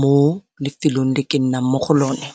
mo lefelong le ke nnang mo go lone.